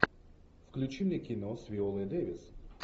включи мне кино с виолой дэвис